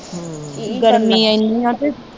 ਗਰਮੀ ਏਨੀ ਆ ਤੇ